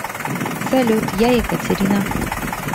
салют я екатерина